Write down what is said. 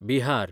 Bihar